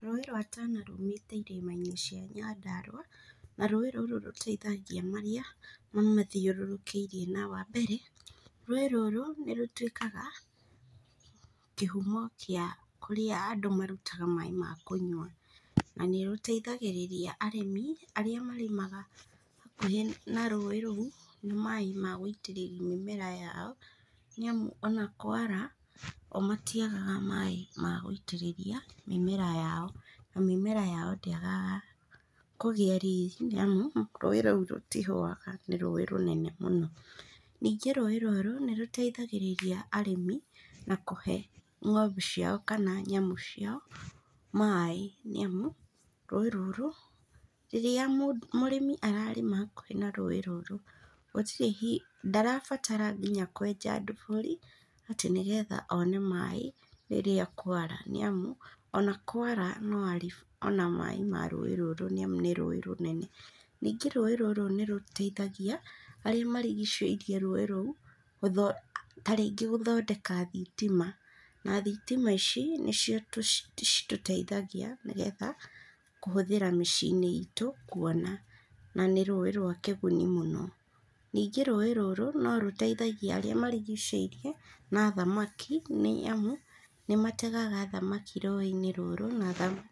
Rũĩ rwa Tana rumĩte irĩma-inĩ cia Nyandarua na rũĩ rũrũ rũteithagia marĩa mamathiũrũkĩirie na wa mbere rũĩ rũrũ nĩ rũtwĩkaga kĩhumo gĩa kũrĩa andũ marutaga maĩ ma kũnyua na nĩ rũteithagĩrĩria arĩmi arĩa marĩmaga hakuhĩ na rũĩ rũu na maĩ ma gũitĩrĩria mĩmera yao nĩamu ona kwara o matiagaga maĩ ma gũitĩrĩria mĩmera yao na mĩmera yao ndĩagaga kũgĩa riri nĩamu rũĩ rũu rũtihũaga nĩ rũĩ rũnene mũno. Ningĩ rũĩ rũrũ nĩ rũteithagĩrĩria arĩmĩ na kũhe ng'ombe ciao kana nyamũ ciao maĩ nĩamu rũĩ rũrũ, rĩrĩa mũrĩmi ararĩma hakuhĩ na rũĩ rũrũ, gũtirĩ hingo, ndarabatara kwenja nginya ndobiri atĩ nĩgetha one maĩ rĩrĩa kwara nĩamu ona kwara no arĩona maĩ ma rũĩ rũrũ nĩamu nĩ rũĩ rũnene. Ningĩ rũĩ rũrũ nĩ rũteithagia arĩa marigicĩirie rũĩ rũu tarĩngĩ gũthondeka thitima na thitima ici nĩcio citũteithagia nĩgetha kũhũthĩra mĩciĩ-inĩ itũ kuona na nĩ rũĩ rwa kĩguni mũno. Ningĩ rũĩ rũrũ nĩ rũteithagia arĩa marigicĩirie na thamaki nĩamu nĩmategaga thamaki rũĩ-inĩ rũrũ na thamaki.